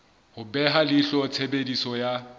ho beha leihlo tshebediso ya